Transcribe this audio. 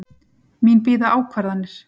Mín bíða ákvarðanir.